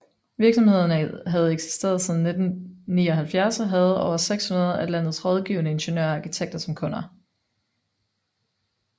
Virksomheden havde eksisteret siden 1979 og havde over 600 af landets rådgivende ingeniører og arkitekter som kunder